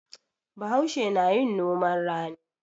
Bahaushe na yin noman rani.